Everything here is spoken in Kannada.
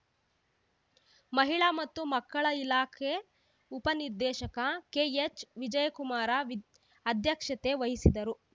ಮಹಿಳಾ ಮತ್ತು ಮಕ್ಕಳ ಇಲಾಖೆ ಉಪ ನಿರ್ದೇಶಕ ಕೆಎಚ್‌ ವಿಜಯಕುಮಾರ ವಿದ್ ಅಧ್ಯಕ್ಷತೆ ವಹಿಸಿದ್ದರು